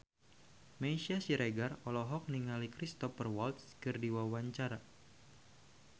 Meisya Siregar olohok ningali Cristhoper Waltz keur diwawancara